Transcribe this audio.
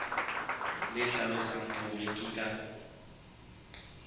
le hlalosang hore ke ka